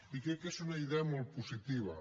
i crec que és una idea molt positiva